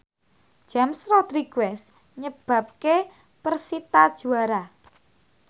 James Rodriguez nyebabke persita juara